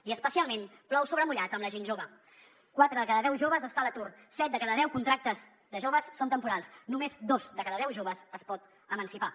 i especialment plou sobre mullat en la gent jove quatre de cada deu joves està a l’atur set de cada deu contractes de joves són temporals només dos de cada deu joves es pot emancipar